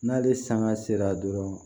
N'ale sanga sera dɔrɔn